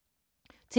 TV 2